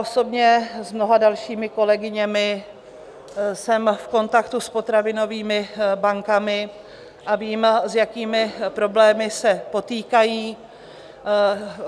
Osobně s mnoha dalšími kolegyněmi jsem v kontaktu s potravinovými bankami a vím, s jakými problémy se potýkají.